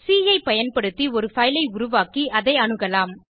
C ஐ பயன்படுத்தி ஒரு பைல் ஐ உருவாக்கி அதை அணுகலாம்